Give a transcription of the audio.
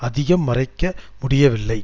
அதிகம் மறைக்க முடியவில்லை